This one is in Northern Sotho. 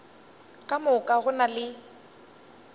ka moka go na le